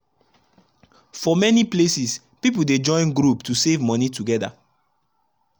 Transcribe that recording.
for many places people dey join group to save money together.